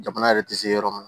Jamana yɛrɛ tɛ se yɔrɔ min na